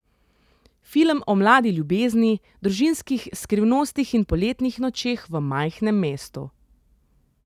Film o mladi ljubezni, družinskih skrivnostih in poletnih nočeh v majhnem mestu.